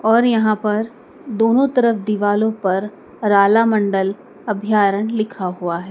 और यहां पर दोनों तरफ दिवालों पर रालामंडल अभ्यारण लिखा हुआ है।